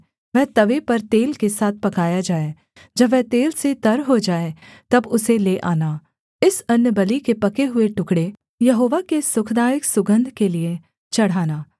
वह तवे पर तेल के साथ पकाया जाए जब वह तेल से तर हो जाए तब उसे ले आना इस अन्नबलि के पके हुए टुकडे़ यहोवा के सुखदायक सुगन्ध के लिये चढ़ाना